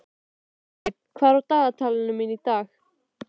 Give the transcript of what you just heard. Marley, hvað er í dagatalinu mínu í dag?